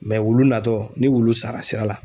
wulu natɔ ni wulu sara sira la.